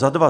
Za dva?